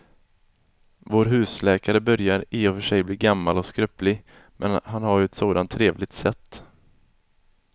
Vår husläkare börjar i och för sig bli gammal och skröplig, men han har ju ett sådant trevligt sätt!